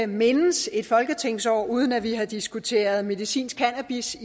mindes et folketingsår uden at vi har diskuteret medicinsk cannabis